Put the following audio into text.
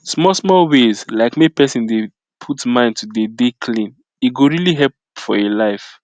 small small ways like make pesin dey put mind to dey dey clean e go really help for him life